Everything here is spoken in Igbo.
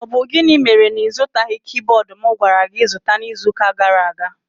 Ọ bụ gịnị mere na ịzụtaghi kaiboodu m gwara gị zụta n'iziuka gara aga?